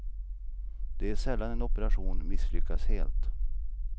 Det är sällan en operation misslyckas helt.